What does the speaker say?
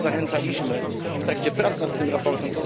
Do tego zachęcaliśmy w trakcie prac nad tym raportem.